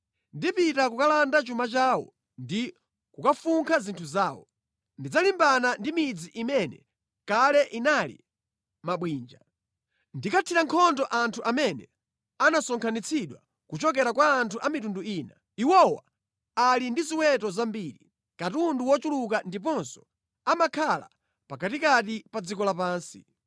Ndipita kukalanda chuma chawo ndi kukafunkha zinthu zawo. Ndidzalimbana ndi midzi imene kale inali mabwinja. Ndikathira nkhondo anthu amene anasonkhanitsidwa kuchokera kwa anthu a mitundu ina. Iwowa ali ndi ziweto zambiri, katundu wochuluka ndiponso amakhala pakatikati pa dziko lapansi.’